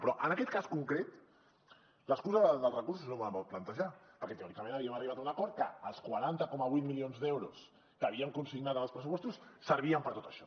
però en aquest cas concret l’excusa dels recursos és de molt mal plantejar perquè teòricament havíem arribat a un acord que els quaranta coma vuit milions d’euros que havíem consignat en els pressupostos servien per a tot això